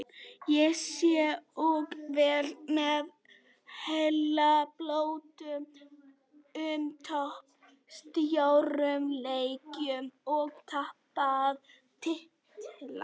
Ég sit og veld mér heilabrotum um töp í stórum leikjum og tapaða titla.